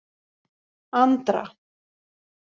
Andra